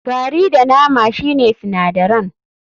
Gari da nama shine sinadaran.